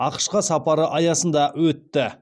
ақш қа сапары аясында өтті